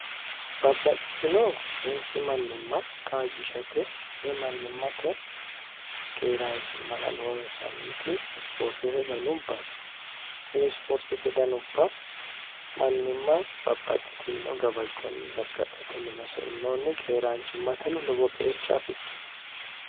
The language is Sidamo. babbaxxitino meessi mannimma kaajjishate wimannimmate keeraanchimmala noonsanniti isipoortete danubbano tini sipoortete danubba mannimma babbaxxitino gabajjoonni gargadhatenni nosainoonni keeraanchimmateno lobo qeecha afidhino